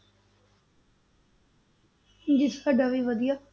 ਤੇ ਜੀ ਸਾਡਾ ਵੀ ਵਧੀਆ।